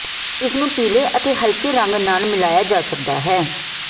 ਇਸ ਨੂੰ ਪੀਲੇ ਅਤੇ ਹਲਕੇ ਰੰਗ ਨਾਲ ਮਿਲਾਇਆ ਜਾ ਸਕਦਾ ਹੈ